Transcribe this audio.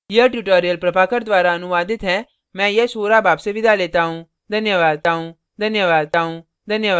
यह tutorial प्रभाकर द्वारा अनुवादित है मैं यश वोरा आपसे विदा लेता हूँ